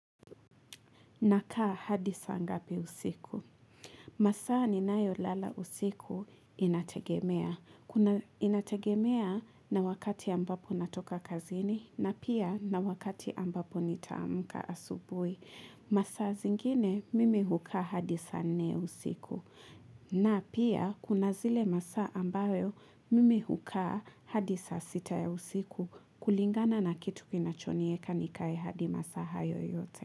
Nakaa hadi saa ngapi usiku? Masaa ninayo lala usiku inategemea. Inategemea na wakati ambapo natoka kazini na pia na wakati ambapo nitaamuka asubui. Masaa zingine mimi hukaa hadi saa nne ya usiku. Na pia kuna zile masaa ambayo mimi hukaa hadi saa sita ya usiku kulingana na kitu kinachonieka nikae hadi masaa hayo yote.